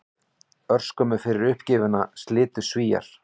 Örskömmu fyrir uppgjöfina slitu Svíar